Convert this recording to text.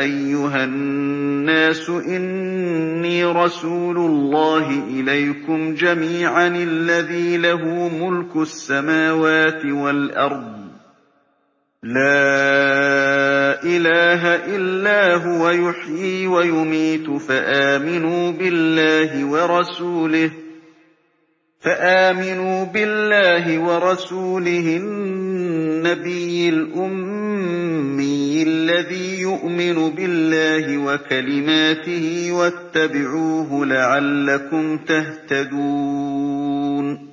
أَيُّهَا النَّاسُ إِنِّي رَسُولُ اللَّهِ إِلَيْكُمْ جَمِيعًا الَّذِي لَهُ مُلْكُ السَّمَاوَاتِ وَالْأَرْضِ ۖ لَا إِلَٰهَ إِلَّا هُوَ يُحْيِي وَيُمِيتُ ۖ فَآمِنُوا بِاللَّهِ وَرَسُولِهِ النَّبِيِّ الْأُمِّيِّ الَّذِي يُؤْمِنُ بِاللَّهِ وَكَلِمَاتِهِ وَاتَّبِعُوهُ لَعَلَّكُمْ تَهْتَدُونَ